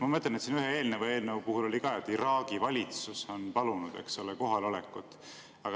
Ma mõtlen, et siin ühe eelneva eelnõu puhul oli ka, et Iraagi valitsus on palunud kohalolekut.